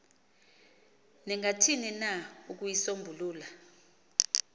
ningathini na ukuyisombulula